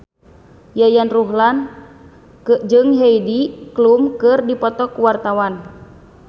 Yayan Ruhlan jeung Heidi Klum keur dipoto ku wartawan